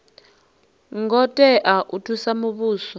ngo tea u thusa muvhuso